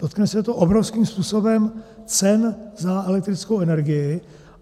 Dotkne se to obrovským způsobem cen za elektrickou energii.